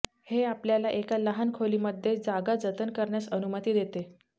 हे आपल्याला एका लहान खोलीमध्ये जागा जतन करण्यास अनुमती देते